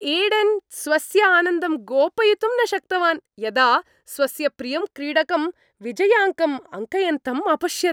Eden स्वस्य आनन्दं गोपयितुं न शक्तवान्, यदा स्वस्य प्रियं क्रीडकं विजयाङ्कम् अङ्कयन्तम् अपश्यत्।